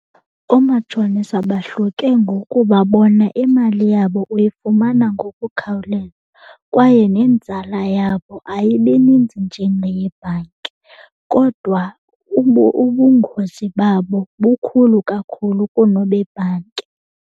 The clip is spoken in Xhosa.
Oomatshonisa bahluke ngokuba bona imali yabo uyifumana ngokukhawuleza kwaye nenzala yabo ayibi ninzi njengeyebhanki. Kodwa ubungozi babo bukhulu kakhulu kunobebhanki.